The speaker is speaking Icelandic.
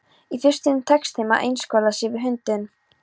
Í fyrstunni tekst þeim að einskorða sig við hundinn.